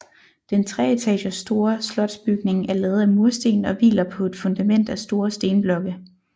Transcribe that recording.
Den treetagers store slotsbygning er lavet af mursten og hviler på et fundament af store stenblokke